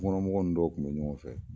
Tukɔnɔmɔgɔ ninnu dɔw kun be ɲɔgɔn fɛ